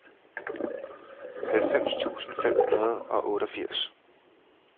halvfems tusind fem hundrede og otteogfirs